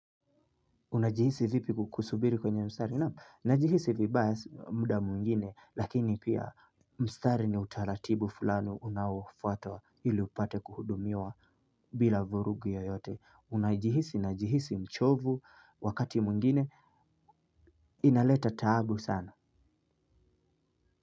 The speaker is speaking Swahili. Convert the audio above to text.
Unajihisi vipi ku, kusubiri kwenye mstari? Naam, najihisi vibaya mda mwingine lakini pia mstari ni utaratibu fulani unaoufuata ili upate kuhudumiwa bila vurugu yoyote. Unajihisi, najihisi mchovu wakati mwingine inaleta tabu sana.